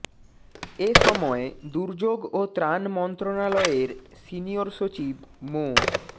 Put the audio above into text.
এ সময় দুর্যোগ ও ত্রাণ মন্ত্রণালয়ের সিনিয়র সচিব মো